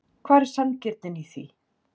Hvar er sanngirnin í því?